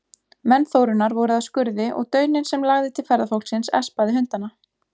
Menn Þórunnar voru að skurði og dauninn sem lagði til ferðafólksins espaði hundana.